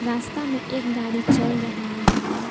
रास्ता में एक गाड़ी चल रहा है।